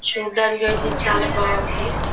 చూడటానికి ఐతే చాల బాగుంది.